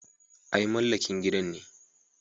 Ai mamallakin gidan ne.